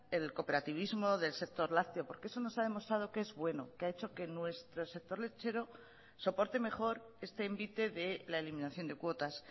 el cooperativismo del sector lácteo porque eso nos ha demostrado que es bueno que ha hecho que nuestro sector lechero soporte mejor este envite de la eliminación de cuotas